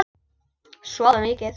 Sofa mikið.